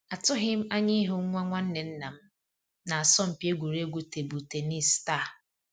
Atụghị m anya ịhụ nwa nwanne nnam na asọmpi egwuregwu tebụl tennis taa